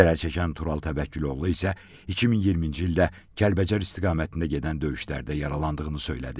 Zərərçəkən Tural Təvəkküloğlu isə 2020-ci ildə Kəlbəcər istiqamətində gedən döyüşlərdə yaralandığını söylədi.